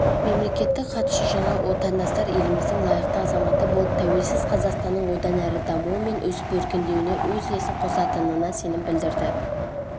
мемлекеттік хатшы жаңа отандастар еліміздің лайықты азаматы болып тәуелсіз қазақстанның одан әрі дамуы мен өсіп-өркендеуіне өз үлесін қосатынына сенім білдірді